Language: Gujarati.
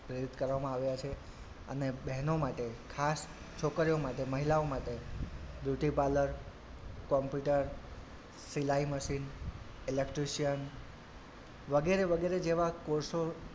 કરવામાં આવ્યાં છે અને બહેનો માટે ખાસ છોકરીઓ માટે મહિલાઓ માટે beauty parlour, computer સિલાઈ મશીન electrician વગેરે વગેરે જેવા course ઓ,